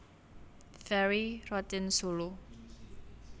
Ferry Rotinsulu